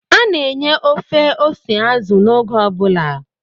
A na-enye ofe ose azụ n'oge ọ bụla